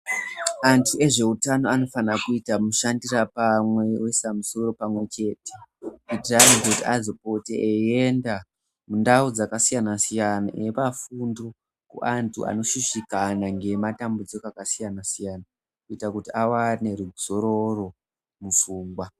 Antu ezveutano anofana kuita mushandira pamwe oisa musoro pamwe chete kuitira kuti antu azopote eienda mundau dzakasiyana siyana eipa fundo kuantu anoshushikana ngematambudziko akasiyana siyana kuita kuti awane ruzororo mupfungwa.